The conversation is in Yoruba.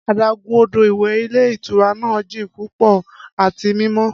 Adagun odo iwẹ ilé ìtura naa jin pupọ ati mimọ.